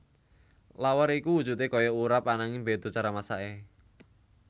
Lawar iku wujudé kaya urap ananging béda cara masaké